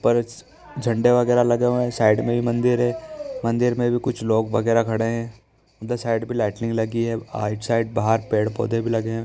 झंडे वगेरा लगे हुए हैं। साइड में भी मंदिर है। मंदिर में भी कुछ लोग वगेरा खड़े है। उधर साइड भी लाइटिंग लगी है। साइड बाहर पेड़-पौधे भी लगे हैं।